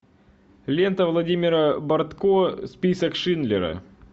лента владимира бортко список шиндлера